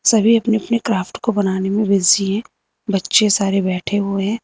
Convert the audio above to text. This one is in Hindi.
सभी अपने अपने क्राफ्ट को बनाने में बिजी है। बच्चे सारे बैठे हुए हैं।